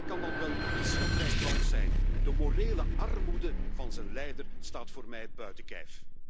Brunei kan dan wel een schatrijk land zijn, de morele armoede van zijn leider staat voor mij buiten kijf!